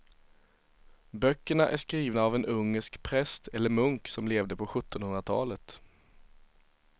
Böckerna är skrivna av en ungersk präst eller munk som levde på sjuttonhundratalet.